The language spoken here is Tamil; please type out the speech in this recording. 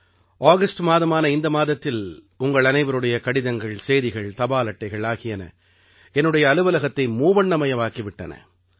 ஆகஸ்ட் மாதமான இந்த மாதத்தில் உங்கள் அனைவருடைய கடிதங்கள் செய்திகள் தபால் அட்டைகள் ஆகியன என்னுடைய அலுவலகத்தை மூவண்ணமயமாக்கி விட்டன